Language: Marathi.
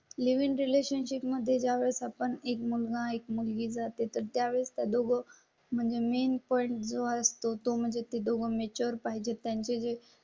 लिव इन रिलेशनशिप मध्ये ज्यावेळेस आपण एक मुलगा एक मुलगी जाते तर त्यावेळेस त्या दोघी म्हणजे मेन पॉईंट जो असतो तो मग ते दोघे चोर पाहिजे त्यांचे जे.